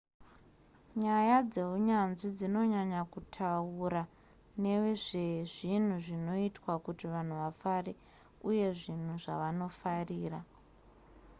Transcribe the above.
nyaya dzeunyanzvi dzinonyanya kutaura nezvezvinhu zvinoita kuti vanhu vafare uye zvinhu zvavanofarira